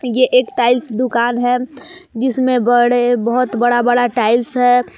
ये एक टाइल्स दुकान है जिसमें बड़े बहुत बड़ा बड़ा टाइल्स है।